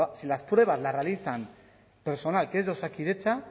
si las pruebas las realiza personal que es de osakidetza